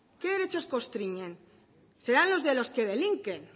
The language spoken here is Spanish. qué derechos constriñen serán los de los que delinquen